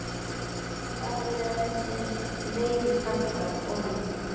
hvað vilja þessir leiðu karlar konunni?